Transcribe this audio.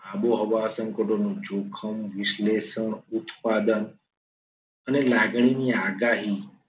આબોહવા સંકટોનો જોખમ વિશ્લેષણ ઉત્પાદન અને લાગણીની આગાહી